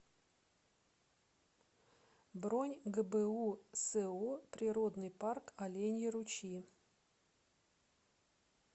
бронь гбу со природный парк оленьи ручьи